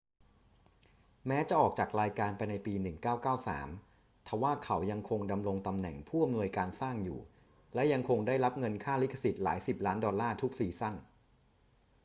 แม้จะออกจากรายการไปในปี 1993 ทว่าเขายังคงดำรงตำแหน่งผู้อำนวยการสร้างอยู่ และยังคงได้รับเงินค่าลิขสิทธิ์หลายสิบล้านดอลลาร์ทุกซีซั่น